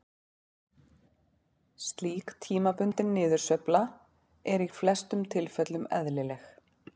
Slík tímabundin niðursveifla er í flestum tilfellum eðlileg.